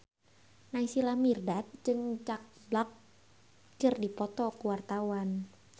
Naysila Mirdad jeung Jack Black keur dipoto ku wartawan